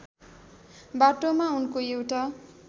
बाटोमा उनको एउटा